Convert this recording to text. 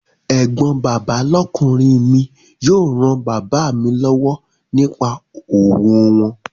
Ẹ̀gbọ́n bàbá lọ́kùnrin mi yóò ran bàbá mi lọ́wọ́ nípa òwò wọn